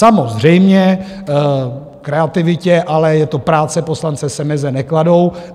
Samozřejmě kreativitě, ale je to práce poslance, se meze nekladou.